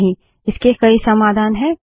नहीं इसके कई समाधान हैं